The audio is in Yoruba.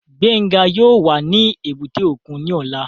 Gbénga yóò wà ní èbúté òkun ní ọ̀la